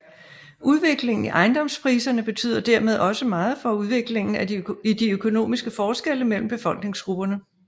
Udviklingen i ejendomspriserne betyder dermed også meget for udviklingen i de økonomiske forskelle mellem befolkningsgrupperne